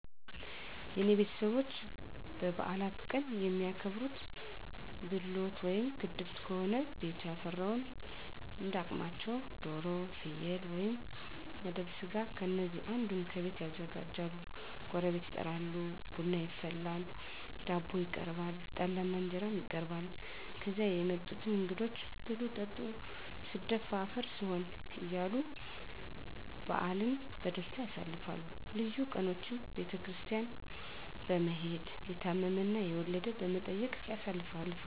የኔ ቤተሰቦች በበዓላት ቀን የሚያከብሩት፦ ብሎት ወይም ግድፍት ከሆነ ቤቱ ያፈራውን እንዳ አቅማቸው ዶሮ፣ ፍየል ወይም መደብ ስጋ ከነዚህ አንዱን ከቤት ያዘጋጃሉ ጎረቤት ይጠራል፣ ቡና ይፈላል፣ ዳቦ ይቀርባል፣ ጠላ እና እንጀራም ይቀርባል ከዚያ የመጡትን እንግዶች ብሉ ጠጡ ስደፋ አፈር ስሆን እያሉ በዓልን በደስታ ያሳልፋሉ። ልዩ ቀኖችን ቤተክርስቲያን በመሔድ፣ የታመመ እና የወለደ በመጠየቅ ያሳልፋሉ።